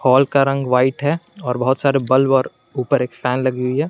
Wall का रंग white है और बहुत सारे बल्ब और ऊपर एक फैन लगी हुई है।